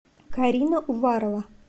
карина уварова